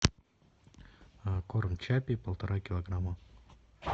корм чаппи полтора килограмма